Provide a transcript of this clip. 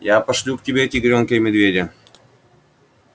я пошлю к тебе тигрёнка и медведя